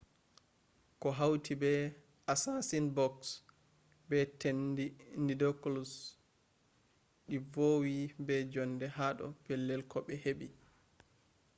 ko hauti be assasin-bugs be tenɗi nidicolous ɗi vowi be jonde ha do pellel ko ɓe heɓi